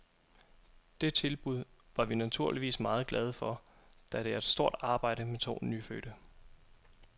Det tilbud var vi naturligvis meget glade for, da det er et stort arbejde med to nyfødte.